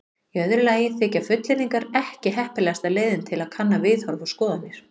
Í öðru lagi þykja fullyrðingar ekki heppilegasta leiðin til að kanna viðhorf og skoðanir.